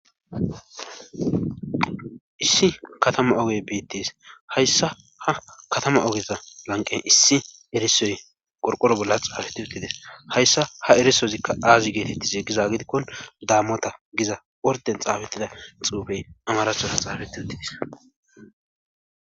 issi katama oge betes;haysa ha katama ogeza lanqqen issi erissozi qorqoro bola xaafeth uttiida; hayssa ha erissizika aaze geetettiza giza gidiko damota giza orden xaafetida xuufee amarathora xafethi uthis.